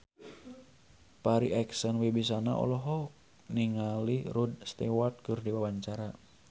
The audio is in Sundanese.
Farri Icksan Wibisana olohok ningali Rod Stewart keur diwawancara